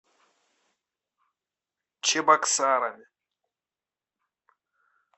чебоксарами